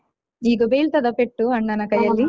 ಈಗ ಬೀಳ್ತದ ಪೆಟ್ಟು ಅಣ್ಣನ ಕೈಯಲ್ಲಿ ?